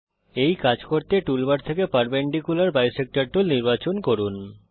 এই কাজ করতে টুল বার থেকে পারপেন্ডিকুলার বিসেক্টর টুল নির্বাচন করুন